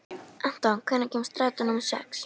Anton, hvenær kemur strætó númer sex?